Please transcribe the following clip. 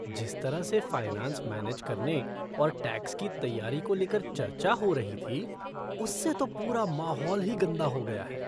जिस तरह से फ़ाइनेंस मैनेज करने और टैक्स की तैयारी को लेकर चर्चा हो रही थी, उससे तो पूरा माहौल ही गंदा हो गया है।